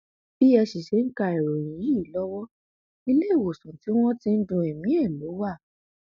bẹ ẹ sì ṣe ń ka ìròyìn yìí lọwọ iléewòsàn tí wọn ti ń du ẹmí ẹ lọ wá